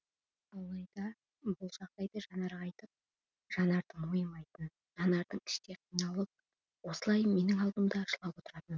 алайда ол бұл жағдайды жанарға айтып жанардың мойымайтын жанардың іштей қиналып осылай менің алдымда жылап отыратыны